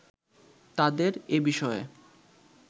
তাদের এবিষয়ে